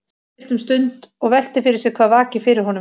Hún er ráðvillt um stund og veltir fyrir sér hvað vaki fyrir honum.